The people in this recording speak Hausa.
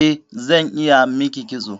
Eh, zan iya miki kitso